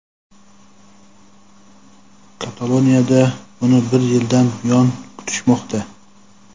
Kataloniyada uni bir yildan buyon kutishmoqda.